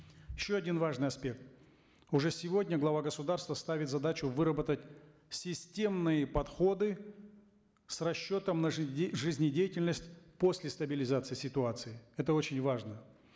еще один важный аспект уже сегодня глава государства ставит задачу выработать системные подходы с расчетом на жизнедятельность после стабилизации ситуации это очень важно